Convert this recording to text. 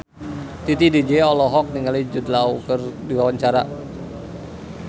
Titi DJ olohok ningali Jude Law keur diwawancara